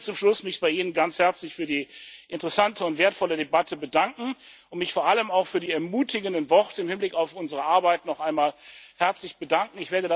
wird. Ich möchte mich zum Schluss bei Ihnen ganz herzlich für die interessante und wertvolle Debatte und vor allem auch für die ermutigenden Worte im Hinblick auf unsere Arbeit noch einmal herzlich bedanken.